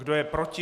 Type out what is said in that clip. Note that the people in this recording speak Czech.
Kdo je proti?